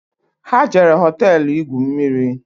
Ha jere hoteelu igwu mmiri